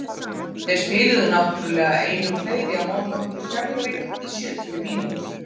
Þeir spiluðu náttúrulega einum fleiri á móti okkur í Keflavík í sjötíu mínútur.